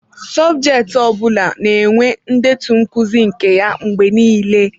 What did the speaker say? Sọbjeti ọ bụla na-enwe ndetu nkuzi nke ya mgbe niile.